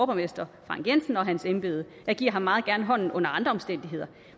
borgmester frank jensen og for hans embede jeg giver ham meget gerne hånden under andre omstændigheder